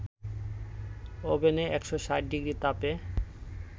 ওভেনে ১৬০ ডিগ্রি তাপে